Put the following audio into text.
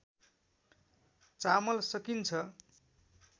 चामल सकिन्छ